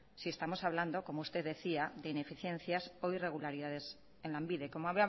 si estamos hablando como usted decía de ineficiencias o irregularidades en lanbide como